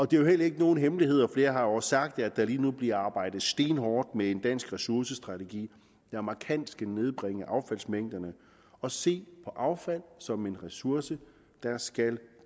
det er jo heller ikke nogen hemmelighed og flere har også sagt det at der lige nu bliver arbejdet stenhårdt med en dansk ressourcestrategi der markant skal nedbringe affaldsmængderne og se på affald som en ressource der skal